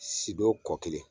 Sidon kɔ kelen